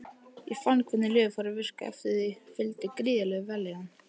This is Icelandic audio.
Ég fann hvernig lyfið fór að virka og því fylgdi gríðarleg vellíðan.